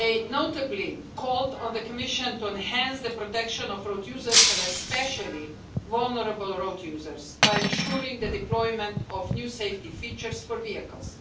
Notably they called on the Commission to enhance the protection of road users, and especially vulnerable road users, by ensuring the deployment of new safety features for vehicles.